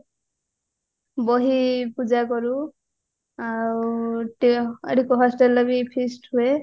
ବହି ପୂଜା କରୁ ଆଉ ଆଡକୁ ବି hostelରେ feast ହୁଏ